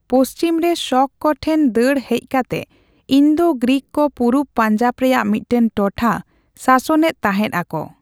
ᱯᱚᱪᱷᱤᱢ ᱨᱮ ᱥᱚᱠ ᱠᱚ ᱴᱷᱮᱱ ᱫᱟᱹᱲ ᱦᱮᱡ ᱠᱟᱛᱮ ᱤᱱᱫᱳᱼᱜᱨᱤᱠ ᱠᱚ ᱯᱩᱨᱩᱵ ᱯᱟᱧᱡᱟᱵ ᱨᱮᱭᱟᱜ ᱢᱤᱫᱴᱟᱝ ᱴᱚᱴᱷᱟ ᱥᱟᱥᱚᱱ ᱮᱫ ᱛᱟᱦᱮᱸᱫ ᱟᱠᱚ ᱾